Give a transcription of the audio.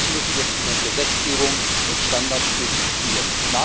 Das müssen wir in unseren Gesetzgebungen und Standards durchdeklinieren.